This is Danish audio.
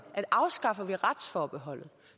at afskaffer vi retsforbeholdet